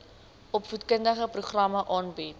opvoedkundige programme aanbied